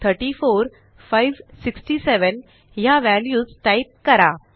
0 34 567 ह्या values type करा